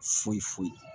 Foyi foyi